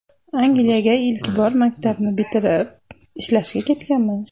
Angliyaga ilk bor maktabni bitirib, ishlashga ketganman.